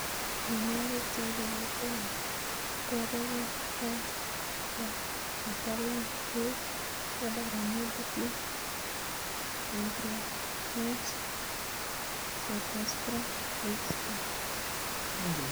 Mionwokik cheibu kutikab bobek ko Rust, Fusarrium wilt, Powdery mildew, Anthrocnose, Cercospora leaf spot.